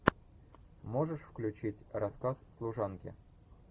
можешь включить рассказ служанки